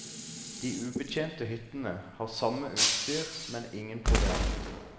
De ubetjente hyttene har samme utstyr men ingen proviant.